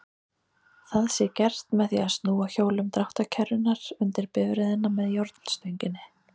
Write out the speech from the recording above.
Það sé gert með því að snúa hjólum dráttarkerrunnar undir bifreiðina með járnstönginni.